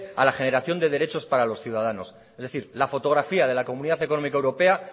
a la generación de derechos para los ciudadanos es decir la fotografía de la comunidad económica europea